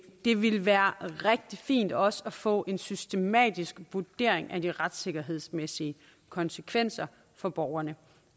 det ville være rigtig fint også at få en systematisk vurdering af de retssikkerhedsmæssige konsekvenser for borgerne